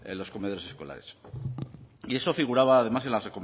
los comedores escolares y eso figuraba además en las